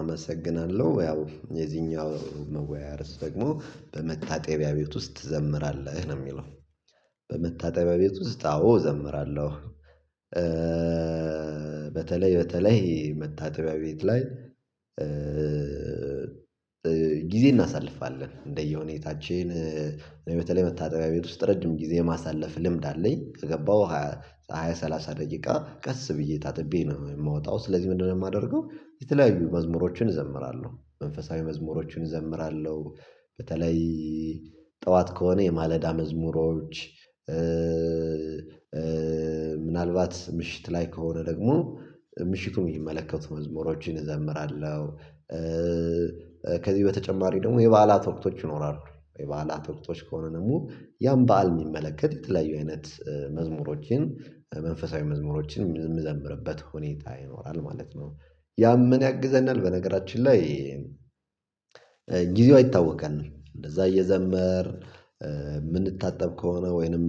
አመሰግናለሁ ያው የዚኛው መወያያ ደግሞ በመታጠቢያ ቤት ውስጥ ትዘምራለህ ነው የሚለው? በመታጠቢያ ቤት ውስጥ አዎ እዘምራለሁ። በተለይ በተለይ መታጠቢያ ቤት ላይ ጊዜ እናሳልፋለን እንደየሁኔ ታችን በተለይ መታጠቢያ ቤት ውስጥ ረጅም ጊዜ የማሳለፍ ልምድ አለኝ ከገባሁ ሃያ ሰላሳ ደቂቃ ቀስ ብዬ ታጥቤ ነው የምወጣው። ስለዚህ ምንድነው የማደርገው የተለያዩ መዝሙሮችን እዘምራለሁ መንፈሳዊ መዝሙሮችን እዘምራለሁ። በተለይ ጠዋት ከሆነ የማለዳ መዝሙሮች ምናልባት ምሽት ላይ ከሆነ ደግሞ ምሽቱን የሚመለከቱ መዝሙሮችን እዘምራለሁ። ከዚህ በተጨማሪ ደግሞ የበዓላት ወቅቶች ይኖራሉ የበዓላት ወቅቶች ከሆነ ደግሞ ያን በዓል የሚመለከት የተለያዩ አይነት መዝሙሮችን መንፈሳዊ መዝሙሮችን የምዘምርበት ሁኔታ ይኖራል ማለት ነው። ያምን ያግዘናል በነገራችን ላይ ጊዜው አይታወቀንም እንደዛ እየዘመርን የምንታጠብ ከሆነ ወይንም